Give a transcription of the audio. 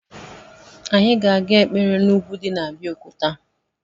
Anyị ga-aga ekpere n’ugwu di n’ Abeokuta